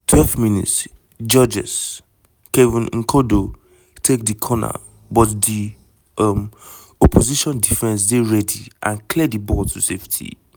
12 mins - georges-kevin n'koudou take di corner but di um opposition defence dey ready and clear di ball to safety.